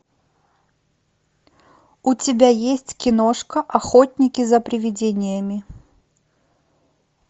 у тебя есть киношка охотники за привидениями